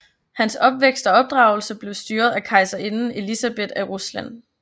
Hans opvækst og opdragelse blev styret af kejserinde Elisabeth af Rusland